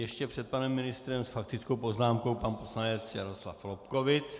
Ještě před panem ministrem s faktickou poznámkou pan poslanec Jaroslav Lobkowicz.